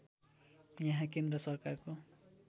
यहाँ केन्द्र सरकारको